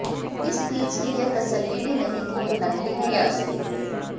इस बीज की यह तसल्ली भी नहीं कि यह नकली है या असली